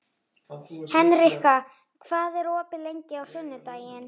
Hendrikka, hvað er opið lengi á sunnudaginn?